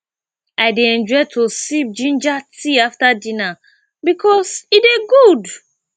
i dey enjoy to sip ginger tea after dinner bikos e dey good